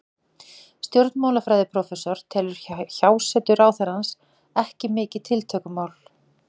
Stjórnmálafræðiprófessor telur hjásetu ráðherrans ekki mikið tiltökumál.